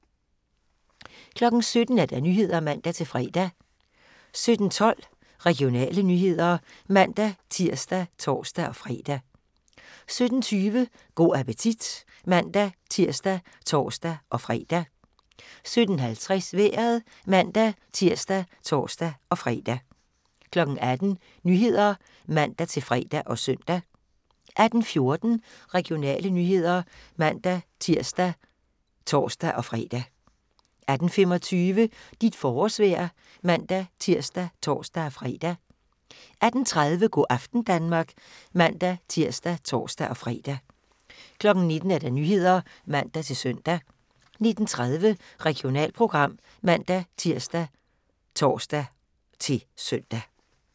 17:00: Nyhederne (man-fre) 17:12: Regionale nyheder (man-tir og tor-fre) 17:20: Go' appetit (man-tir og tor-fre) 17:50: Vejret (man-tir og tor-fre) 18:00: Nyhederne (man-fre og søn) 18:14: Regionale nyheder (man-tir og tor-fre) 18:25: Dit forårsvejr (man-tir og tor-fre) 18:30: Go' aften Danmark (man-tir og tor-fre) 19:00: Nyhederne (man-søn) 19:30: Regionalprogram (man-tir og tor-søn)